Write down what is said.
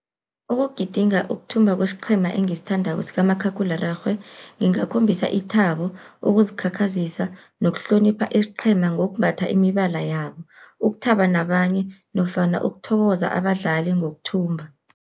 Ukugidinga ukuthumba kwesiqhema engisithandako sikamakhakhulararhwe, ngingakhombisa ithabo, ukuzikhakhazisa nokuhlonipha isiqhema ngokumbatha imibala yabo, ukuthaba nabanye nofana ukuthokoza abadlali ngokuthumba.